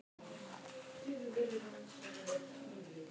Í lífríkinu er náið samlífi þekkt meðal ólíkra hópa lífvera.